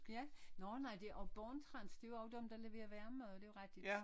Ja nå nej det og Born-Trans det er jo dem der leverer hver mad det jo rigtigt